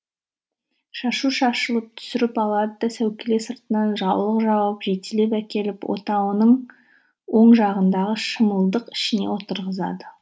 шашу шашылып түсіріп алады да сәукеле сыртынан жаулық жауып жетелеп әкеліп отауының оң жағындағы шымылдық ішіне отырғызады